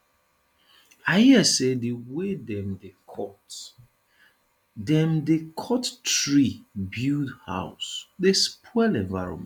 i hear sey di wey dem dey cut dem dey cut tree build house dey spoil environment